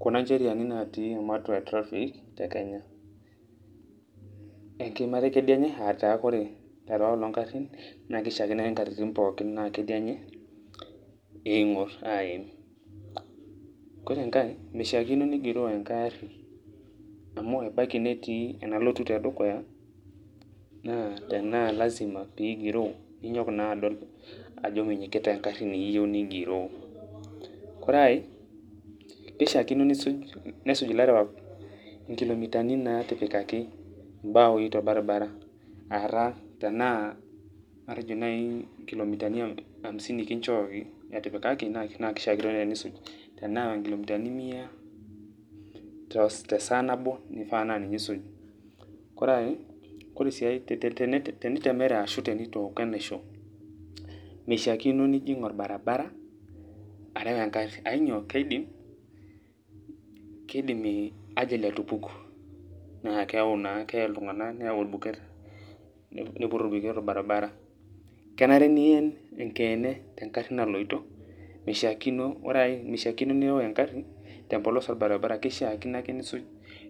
kuna ncheriani natii ematua e traffic te Kenya, enkiimata e kedienye ataa kore lelo ooata ng'arin naake ishaakino ake nkatitin pookin naa kedienye ing'or aim. Kore enkae mishaakino nigiroo enkae ari amu ebaki netii enalotu e dukuya nee tenee lazima pigiroo ninyok naa adol ajo minyikita eng'ari niyeu nigiroo. Kore ai kishaakino nisuj nesuj ilarewak nkilomitani naatipikaki imbaoi torbaribara aata tenaa matejo nai nkilomitani hamisini kinjooki etepikaki naa kishakinore enisuj, tenaa nkilomitani mia te saa nabo nifaa naa ninye isuj. Kore ai kore sii tete te tenitemere ashu nitooko enaisho mishaakino nijing' orbaribara areu eng'ari ainyoo e keidim kidim ajali atupuku naa keau naa keye iltung'anak neyau orbuet niput orbuket orbaribara. Kenare nien enkeene te ng'ari naloito, mishaakino ore ai mishaakino nireu eng'ari tempolos orbaribara kishaakino ake nisuj